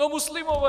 No muslimové!